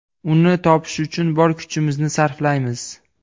Uni topish uchun bor kuchimizni sarflaymiz.